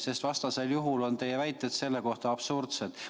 Sest vastasel juhul on teie väited selle kohta absurdsed.